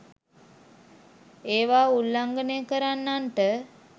ඒවා උල්ලංඝනය කරන්නන්ට